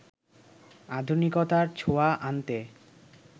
আধুনিকতার ছোঁয়া আনতে